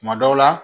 Kuma dɔw la